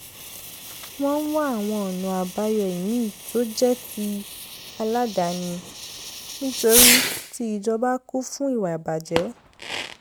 wọ́n ń wá àwọn ọ̀nà àbáyọ ìmíì tó jẹ́ ti aládàáni nítorí ti ìjọba kún fún ìwà ìbàjẹ́